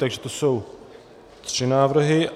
Takže to jsou tři návrhy.